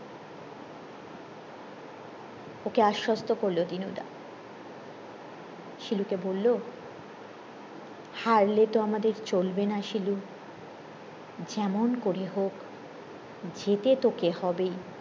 ওকে আসস্থ করলো দিনু দা শিলু কে বললো হারলে তো আমাদের চলবে না শিলু যেমন করে যেতে তোকে হবেই